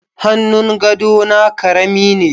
Hannun gadona karami ne